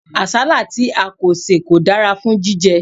Àsálà tí a kò sè kò dára fún jíjẹ.